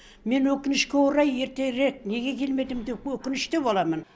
мен өкінішке орай ертерек неге келмедім деп өкінішті боламын